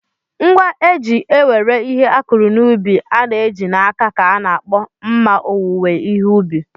Ngwa eji ewere ihe akụrụ n'ubi a na-eji n'aka ka a na-akpọ mma owuwe ihe ubi.